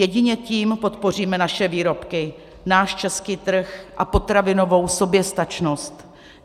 Jedině tím podpoříme naše výrobky, náš český trh a potravinovou soběstačnost.